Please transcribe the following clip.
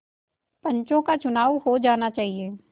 पंचों का चुनाव हो जाना चाहिए